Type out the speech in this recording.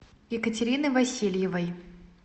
екатерины васильевой